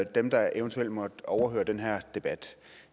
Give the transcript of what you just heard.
dem der eventuelt måtte overhøre den her debat